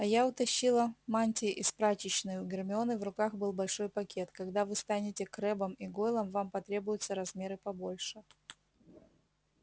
а я утащила мантии из прачечной у гермионы в руках был большой пакет когда вы станете крэббом и гойлом вам потребуются размеры побольше